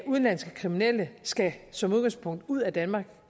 udenlandske kriminelle skal som udgangspunkt ud af danmark